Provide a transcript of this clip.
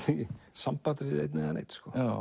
sambandi við einn eða neinn